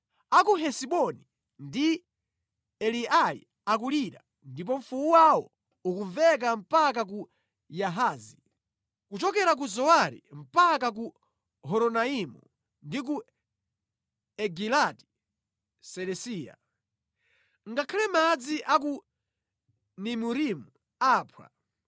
“A ku Hesiboni ndi Eleali akulira ndipo mfuwu wawo ukumveka mpaka ku Yahazi, kuchokera ku Zowari mpaka ku Horonaimu ndi ku Egilati Selisiya. Ngakhale madzi a ku Nimurimu aphwa.